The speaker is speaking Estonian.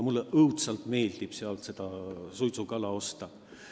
Mulle õudselt meeldib sealt suitsukala osta.